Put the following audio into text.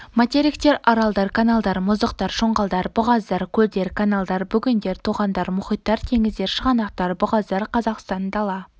материктер аралдар каналдар мұздықтар шоңғалдар бұғаздар көлдер каналдар бөгендер тоғандар мұхиттар теңіздер шығанақтар бұғаздар қазақстан дала